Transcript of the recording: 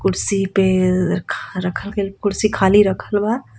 कुर्सी पे रख रखल गइल कुर्सी खाली रखल बा।